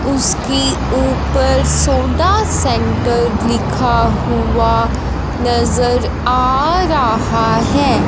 उसके उपर soda centre लिखा हुआ नजर आ रहा है।